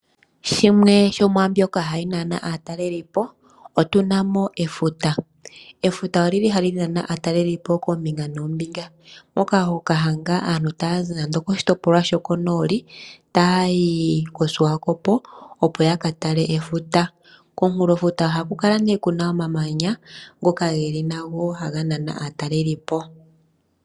Shimwe shomwaa mbyoka hayi nana aatalelipo otu na mo efuta. Efuta ohali nana aatalelipo koombinga noombinga moka ho adha aatalelipo okuza koshitopolwa shokonooli taya yi koSwakopo, opo ya ka tale efuta. Komunkulofuta ohaku kala ku na omamanya ngoka haga nana aatalelipo.